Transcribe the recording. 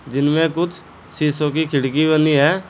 जिन में कुछ शीशों की खिड़की वाली हैं।